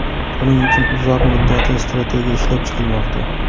Buning uchun uzoq muddatli strategiya ishlab chiqilmoqda.